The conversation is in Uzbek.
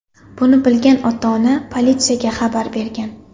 Buni bilgan ota-ona politsiyaga xabar bergan.